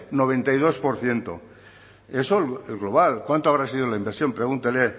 noventa y dos por ciento eso el global cuánto habrá sido la inversión pregúntele